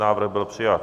Návrh byl přijat.